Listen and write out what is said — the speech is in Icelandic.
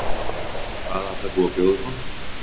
Hvað ætlar þú að bjóða upp á?